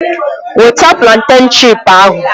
Weta plantèn chipu ahụ!